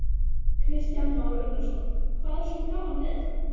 Kristján Már Unnarsson: Hvað er svona gaman við þetta?